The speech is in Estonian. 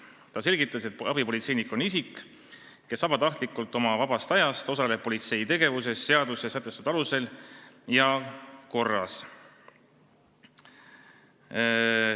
Ta selgitas, et abipolitseinik on isik, kes vabatahtlikult, oma vabast ajast osaleb politsei tegevuses seaduses sätestatud alusel ja korras.